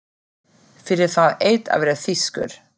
Fyrir það eitt að vera þýskur.